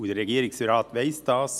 Der Regierungsrat weiss es.